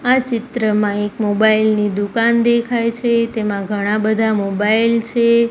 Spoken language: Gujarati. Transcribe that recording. આ ચિત્રમાં એક મોબાઇલ ની દુકાન દેખાય છે તેમા ઘણા બધા મોબાઇલ છે.